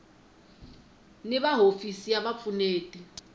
ni va hofisi ya vupfuneti